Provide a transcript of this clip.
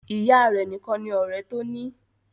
Ìyá a rẹ̀ nìkan ni ọ̀rẹ́ tó ní.